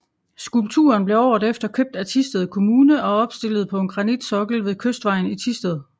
Skulpturen blev året efter købt af Thisted Kommune og opstilet på en granitsokkel ved Kystvejen i Thisted